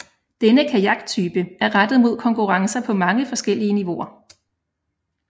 Denne kajaktype er rettet mod konkurrencer på mange forskellige niveauer